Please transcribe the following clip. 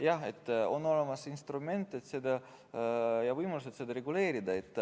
Jah, on olemas instrument ja võimalused seda reguleerida.